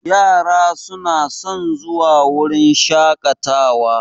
Yara su na son zuwa wurin shaƙatawa